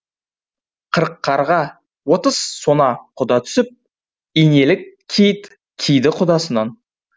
қырық қарға отыз сона құда түсіп инелік киіт киді құдасынан